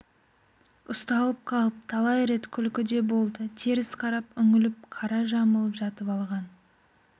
ұсталып қалып талай рет күлкі де болды теріс қарап үһілеп қара жамылып жатып алған